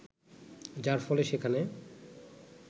যার ফলে সেখানে